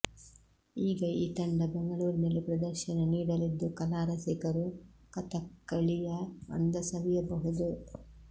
ಈಗ ಈ ತಂಡ ಬೆಂಗಳೂರಿನಲ್ಲಿ ಪ್ರದರ್ಶನ ನೀಡಲಿದ್ದು ಕಲಾ ರಸಿಕರು ಕಥಕ್ಕಳಿಯ ಅಂದ ಸವಿಯಬಹುದು